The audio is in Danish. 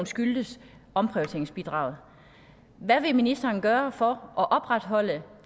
skyldtes omprioriteringsbidraget hvad vil ministeren gøre for at opretholde